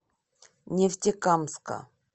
нефтекамска